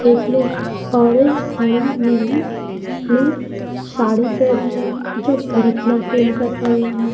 एक ने ऑरेंज हरी नीली ब्लू साड़ी पेहनी है जो भरतनाट्यम कर रहे हैं।